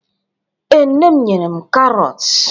Ee, Nne m nyere m karọt